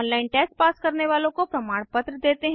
online test pass करने वालों को प्रमाणपत्र देते हैं